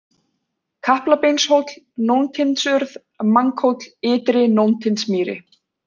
Kaplabeinshóll, Nóntindsurð, Manghóll, Ytri-Nóntindsmýri